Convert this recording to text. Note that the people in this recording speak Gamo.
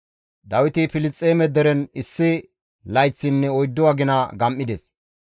Dawiti Filisxeeme deren issi layththinne oyddu agina gam7ides.